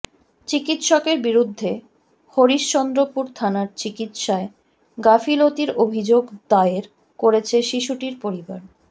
চিকিৎসকের বিরুদ্ধে হরিশচন্দ্রপুর থানার চিকিৎসায় গাফিলতির অভিযোগ দায়ের করেছে শিশুটির পরিবার